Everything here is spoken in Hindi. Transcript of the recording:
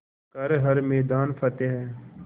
कर हर मैदान फ़तेह